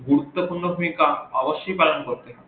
গুরুত্বপূর্ণ ভুমিকা অবশ্যই পালন করবে